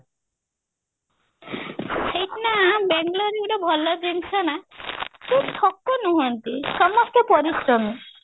ସେଇଠି ନା ବେଙ୍ଗେଲୋର ରେ ଗୋଟେ ଭଲ ଜିନିଷ ନା କେହି ଠକ ନୁହନ୍ତି ସମସ୍ତେ ପରିଶ୍ରମୀ